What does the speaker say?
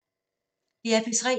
DR P3